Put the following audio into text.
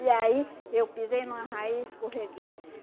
E aí eu pisei numa raiz escorreguei.